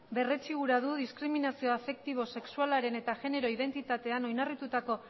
berretsi gura du diskriminazio afektibo sexualaren eta genero identitatean oinarritutako